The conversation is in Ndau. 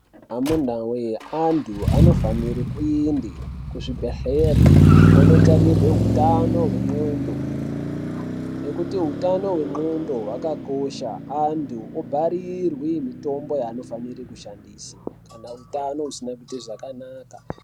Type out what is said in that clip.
Amunawee, antu anofanire kuende kuzvibhedhlera onotarirwe hutano hwendxondo, nekuti utano hwendxondo hwakakosha. Antu obharirwe mitombo yevanofanire kushandisa kana utano usina kuite zvakanaka.